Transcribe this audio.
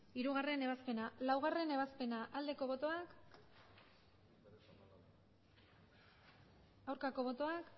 hirugarrena ebazpena laugarrena ebazpena aldeko botoak aurkako botoak